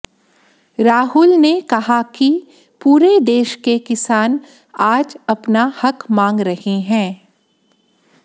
राहुल ने कहा कि पूरे देश के किसान आज अपना हक मांग रहे हैं